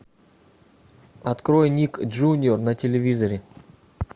открой ник джуниор на телевизоре